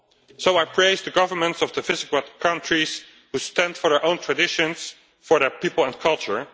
So I praise the governments of the Visegrád countries who stand for their own traditions, for their people and culture